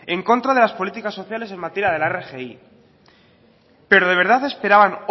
en contra de las políticas sociales en materia de la rgi pero de verdad esperaban